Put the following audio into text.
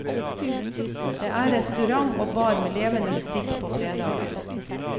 Det er restaurant og bar med levende musikk på fredager.